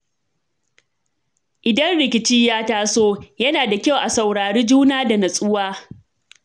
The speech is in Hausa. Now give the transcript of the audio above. Idan rikici ya taso, yana da kyau a saurari juna da nutsuwa.